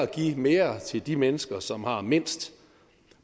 give mere til de mennesker som har mindst